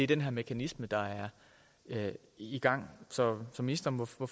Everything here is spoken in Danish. den her mekanisme der er i gang så ministeren må få